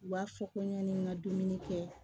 U b'a fɔ ko yanni n ka dumuni kɛ